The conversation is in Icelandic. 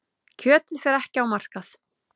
Kjötið fer ekki á markað.